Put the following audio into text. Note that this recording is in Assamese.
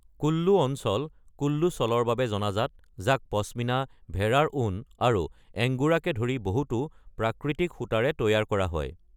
কুল্লু অঞ্চল কুল্লু চাদৰৰ বাবে জনাজাত, যাক পশমিনা, ভেড়াৰ ঊণ আৰু এংগোৰাকে ধৰি বহুতো প্ৰাকৃতিক সূতাৰে তৈয়াৰ কৰা হয়।